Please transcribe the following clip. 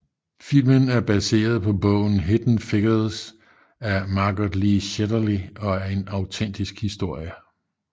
Filmen er baseret på bogen Hidden Figures af Margot Lee Shetterly og er en autentisk historie